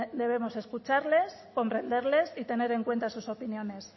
debemos escucharles comprenderles y tener en cuenta sus opiniones